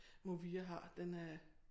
Movia har den øh